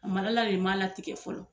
de m'a latigɛ fɔlɔ